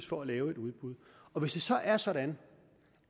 for at lave et udbud og hvis det så er sådan